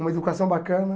Uma educação bacana.